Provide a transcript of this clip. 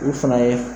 U fana ye